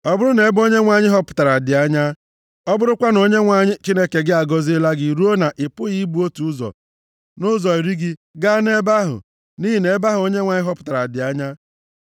Ọ bụrụ na ebe Onyenwe anyị họpụtara dị anya, ọ bụrụkwa na Onyenwe anyị Chineke gị agọziela gị ruo na ị pụghị ibu otu ụzọ nʼụzọ iri gị gaa nʼebe ahụ (nʼihi na ebe ahụ Onyenwe anyị họpụtara dị anya),